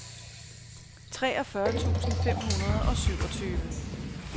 treogfyrre tusind fem hundrede og syvogtyve